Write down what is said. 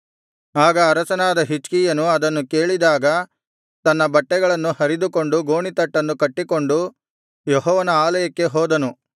ಆಗ ಅರಸನಾದ ಹಿಜ್ಕೀಯನು ಅದನ್ನು ಕೇಳಿದಾಗ ತನ್ನ ಬಟ್ಟೆಗಳನ್ನು ಹರಿದುಕೊಂಡು ಗೋಣೀತಟ್ಟನ್ನು ಕಟ್ಟಿಕೊಂಡು ಯೆಹೋವನ ಆಲಯಕ್ಕೆ ಹೋದನು